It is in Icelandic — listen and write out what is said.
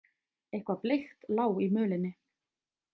Eitthvað bleikt lá í mölinni.